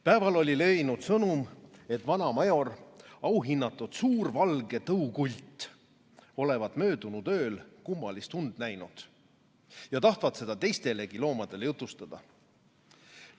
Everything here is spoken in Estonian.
Päeval oli levinud sõnum, et vana Major, auhinnatud suur valge tõukult, olevat möödunud ööl kummalist und näinud ja tahtvat seda teistelegi loomadele jutustada.